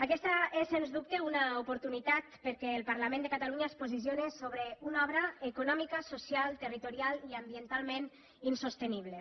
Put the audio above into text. aquesta és sens dubte una oportunitat perquè el parlament de catalunya es posicione sobre una obra econòmicament socialment territorialment i ambientalment insostenible